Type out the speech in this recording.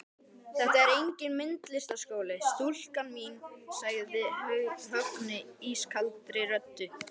Þetta er enginn myndlistarskóli, stúlka mín sagði Högni ískaldri röddu.